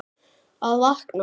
Að vakna.